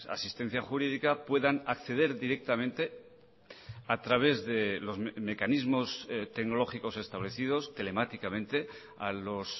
asistencia jurídica puedanacceder directamente a través de los mecanismos tecnológicos establecidos telemáticamente a los